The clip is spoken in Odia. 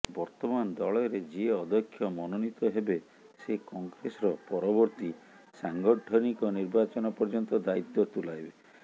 ବର୍ତ୍ତମାନ ଦଳରେ ଯିଏ ଅଧ୍ୟକ୍ଷ ମନୋନୀତ ହେବେ ସେ କଂଗ୍ରେସର ପରବର୍ତ୍ତୀ ସାଂଗଠନିକ ନିର୍ବାଚନ ପର୍ୟ୍ୟନ୍ତ ଦାୟିତ୍ୱ ତୁଲାଇବେ